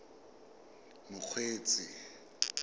mokgweetsi